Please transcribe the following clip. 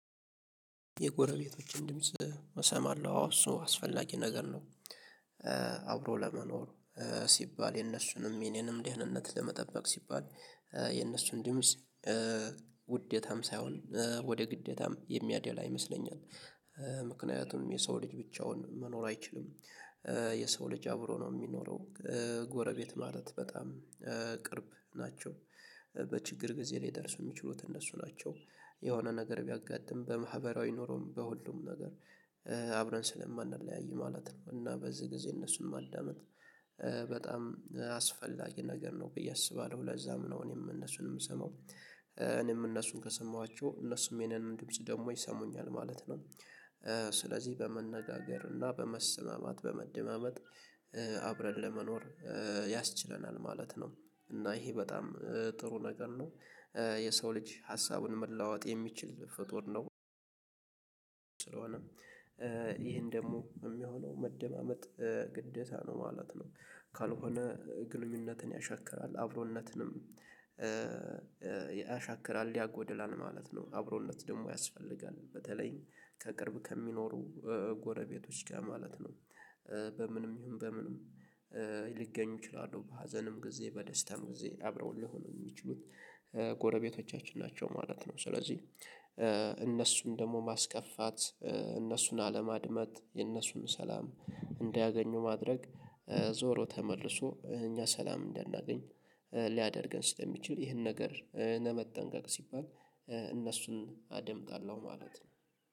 የጎረቤቶችን ድምጽ እሰማለሁ አሁን እሱ አስፈላጊ ነገር ነው። አብሮ ለመኖሩ ሲባል የነሱንም የኔንም ደህንነት ለመጠበቅ ሲባል የነሱን ድምጽ ውዴታም ሳይሆን ወደ ግደታም የሚያደላ ይመስለኛል። ምክንያቱም የሰው ልጅ ብቻውን መኖር አይችልም። የሰው ልጅ አብሮ ነው የሚኖረው። ጎረቤት ማለት በጣም እ ቅርብ ናቸው። በችግር ጊዜላይ ሊደርሱ የሚችሉት እነሱ ናቸው። የሆነ ነገር ቢያጋጥም በማህበራዊ ኖሮም በሁሉም ነገር አብረን ስለማንለያይ ማለት ነው። እና በዚህ ጊዜ እነሱን ማዳመጥ አስፈላጊ ነገር ነው ብዬ አስባለሁ። ለዛም ነው እኔም እነሱን የምሰማው። እኔም እነሱን ከሰማኋቸው እነሱም የኔን ድምጽ ደግሞ ይሰሙኛል ማለት ነው። እ ስለዚህ በመነጋገር እና በመሰማማት በመደማመጥ አብረን ለመኖር እ ያስችለናል ማለት ነው። እና ይሄ በጣም ጥሩ ነገር ነው። የሰው ልጅ ሀሳቡን መለዋወጥ የሚችል ፍጡር ነው። ስለሆነም ይሄን ደግሞ ሚሆነው መደማመጥ ግደታ ነው ማለት ነው። ካልሆነ ግንኙነትን ያሻክራል አብሮነትንም ያሻክራል ያጎድላል ማለት ነው። አብሮነት ደግሞ ያስፈልጋል በተለይ ከቅርብ ከሚኖሩ ጎረቤቶች ጋር ማለት ነው። በምንም ይሁን በምንም እ ሊገኙ ይችላሉ በሀዘንም ጊዜ በደስታም ጊዜ አብረውህ ሊሆኑ የሚችሉት ጎረቤቶቻችን ናቸው ማለት ነው። ስለዚህ እነሱም ደግሞ ማስከፋት እነሱን አለማድመጥ የእነሱን ሰላም እንዳያገኙ ማድረግ እ ዞሮ ተመልሶ እኛ ሰላም እንዳናገኝ ሊያደርገን ስለሚችል ይህን ነገር ለመጠንቀቅ ሲባል። እነሱን አደምጣለሁ ማለት ነው